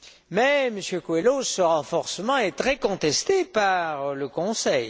Mais, Monsieur Coelho, ce renforcement est très contesté par le Conseil.